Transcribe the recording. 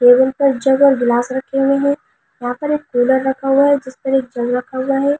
गिलास रखे हुए है यहाँ पर एक कूलर रखा हुआ है जिस पर एक जग रखा हुआ है यहाँ।